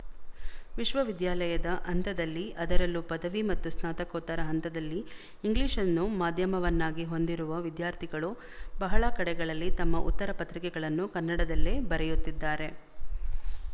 ವಿಶವವಿದ್ಯಾಲಯದ ಹಂತದಲ್ಲಿ ಅದರಲ್ಲೂ ಪದವಿ ಮತ್ತು ಸ್ನಾತಕೋತ್ತರ ಹಂತದಲ್ಲಿ ಇಂಗ್ಲಿಶ್‌ನ್ನು ಮಾಧ್ಯಮವನ್ನಾಗಿ ಹೊಂದಿರುವ ವಿದ್ಯಾರ್ಥಿಗಳು ಬಹಳ ಕಡೆಗಳಲ್ಲಿ ತಮ್ಮ ಉತ್ತರ ಪತ್ರಿಕೆಗಳನ್ನು ಕನ್ನಡದಲ್ಲೇ ಬರೆಯುತ್ತಿದ್ದಾರೆ